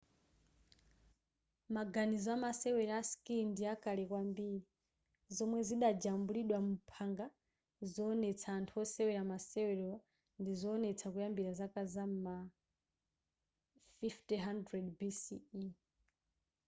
maganizo amawesera a skii ndi akale kwambiri zomwe zidajambulidwa muphanga zowonetsa anthu osewera masewerowa ndizowonetsa kuyambira zaka m'ma 5000 bc